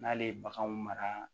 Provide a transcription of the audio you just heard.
N'ale ye baganw mara